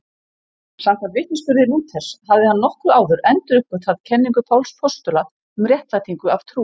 Samkvæmt vitnisburði Lúthers hafði hann nokkru áður enduruppgötvað kenningu Páls postula um réttlætingu af trú.